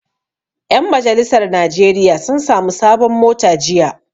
Ƴan majalisar najeriya sun sami sabon mota jiya